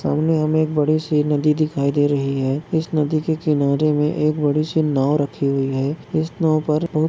सामने हमे बड़ी सी नदी दिखाई दे रही है इस नदी के किनारे मे एक बड़ी सी नाव रखी हुई है ईस नाव पर बहोत --